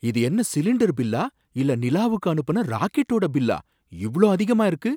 இது என்ன சிலிண்டர் பில்லா இல்ல நிலாவுக்கு அனுப்புன ராக்கெடோட பில்லா, இவ்ளோ அதிகமா இருக்கு